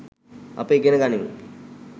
අප ඉගෙන ගනිමු